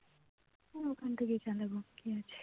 তো ওখান থেকেই চালাবো কি আছে